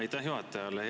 Aitäh juhatajale!